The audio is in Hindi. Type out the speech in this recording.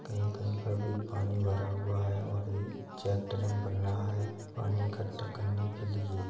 कहीं कहीं पर भी पानी भरा हुआ है और बन रहा है पानी इकट्ठा करने के लिए |